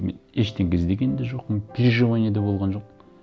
мен ештеңе іздеген де жоқпын переживание де болған жоқ